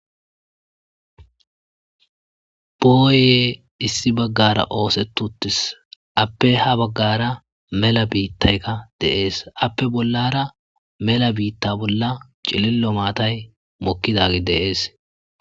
Booya issi baggaara oosetti uttis ape ha baggaara mela biittayka de7ees.appe bollara mela maata bollara cililo maatay mokkizagey de7ees.